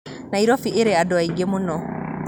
Nairobi ĩrĩ andũ aingĩ mũno